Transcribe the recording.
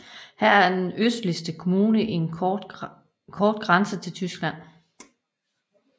Her har den østligste kommune en kort grænse til Tyskland